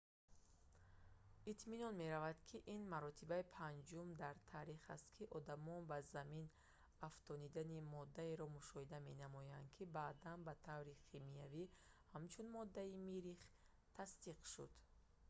итминон меравад ки ин маротибаи панҷум дар таърих аст ки одамон ба замин афтодани моддаеро мушоҳида менамуданд ки баъдан ба таври химиявӣ ҳамчун моддаи миррих тасдиқ шуд